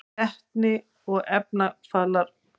Vetni og efnarafalar: